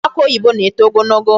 Ukwu akị oyibo na-eto ogologo.